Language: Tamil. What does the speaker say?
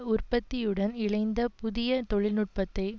உற்பத்தியுடன் இணைந்த புதிய தொழில்நுட்பத்தை